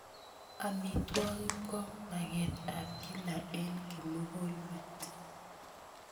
Amitwogik ko maket ap kila eng' kimukulmet.